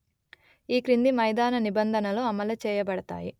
ఈ క్రింది మైదాన నిబంధనలు అమలు చేయబడతాయి